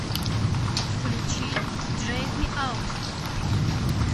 включи дрэг ми аут